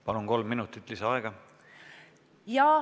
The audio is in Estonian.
Palun, kolm minutit lisaaega!